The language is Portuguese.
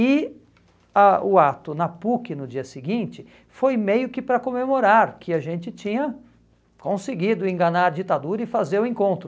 E a o ato na PUC, no dia seguinte, foi meio que para comemorar que a gente tinha conseguido enganar a ditadura e fazer o encontro.